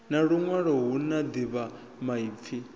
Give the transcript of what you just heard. na luṅwe hu na ḓivhamaipfi